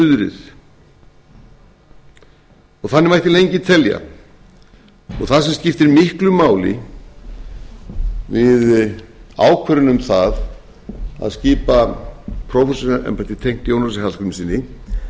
suðrið þannig mætti lengi telja það sem skiptir miklu máli við ákvörðun um það að skipa prófessorsembætti tengt jónasi hallgrímssyni